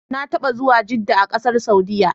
Na taɓa zuwa Jedda a ƙasar Saudiyya.